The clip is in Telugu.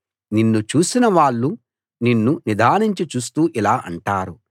నిన్ను చూసిన వాళ్ళు నిన్ను నిదానించి చూస్తూ ఇలా అంటారు